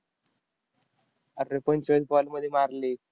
अरं, एकोणचाळीस ball मध्ये मारली.